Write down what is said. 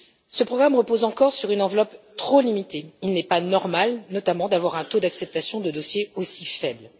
Ce programme repose encore sur une enveloppe trop limitée. Il n'est pas normal, notamment, d'avoir un taux d'acceptation de dossiers aussi faible.